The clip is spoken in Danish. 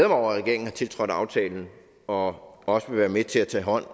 at regeringen har tiltrådt aftalen og også vil være med til at tage hånd